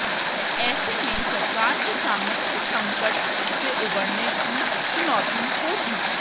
ऐसे में सरकार के सामने इस संकट से उबरने की चुनौती होगी